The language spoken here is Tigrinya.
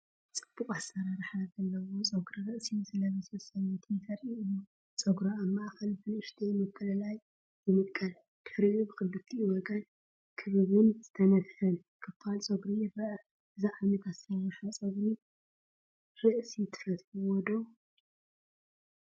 ጽቡቕ ኣሰራርሓ ዘለዎ ጸጉሪ ርእሲ ዝለበሰት ሰበይቲ ዘርኢ እዩ። ጸጉራ ኣብ ማእከል ብንእሽቶ ምፍልላይ ይምቀል፡ ድሕሪኡ ብኽልቲኡ ወገን ክቡብን ዝተነፍሐን ክፋል ጸጉሪ ይርአ። እዚ ዓይነት ኣሰራርሓ ጸጉሪ ርእሲ ትፈትውዎ ዶ?